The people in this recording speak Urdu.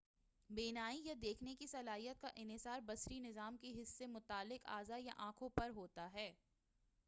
بینائی یا دیکھنے کی صلاحیت کا انحصار بصری نظام کے حس سے متعلق اعضاء یا آنکھوں پر ہوتا ہے